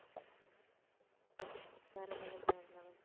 வேற level வேற level